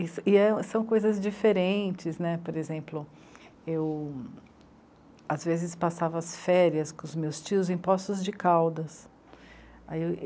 E são coisas diferentes né, por exemplo, eu às vezes passava as férias com os meus tios em Poços de Caldas. Ai, eu